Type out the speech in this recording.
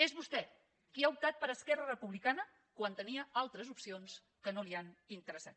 és vostè qui ha optat per esquerra republicana quan tenia altres opcions que no li han interessat